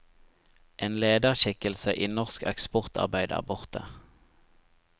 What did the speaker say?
En lederskikkelse i norsk eksportarbeid er borte.